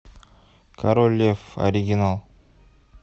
король лев оригинал